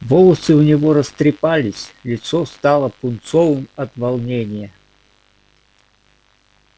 волосы у него растрепались лицо стало пунцовым от волнения